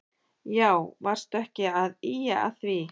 Já varstu ekki að ýja að því.